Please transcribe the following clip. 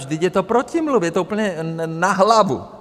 Vždyť je to protimluv, je to úplně na hlavu!